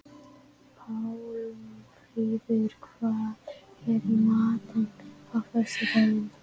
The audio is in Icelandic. Pálmfríður, hvað er í matinn á föstudaginn?